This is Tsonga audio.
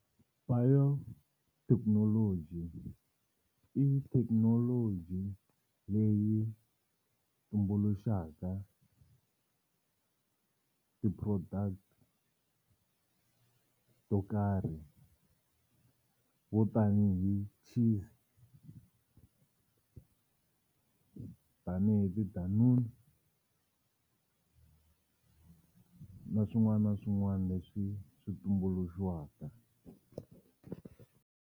Biotechnology i technology leyi tumbuluxaka ti-product to karhi vo tanihi cheese, tanihi tidanunu na swin'wana na swin'wana leswi swi tumbuluxiwaka.